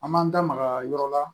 An m'an da maga yɔrɔ la